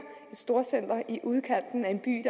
et storcenter i udkanten af en by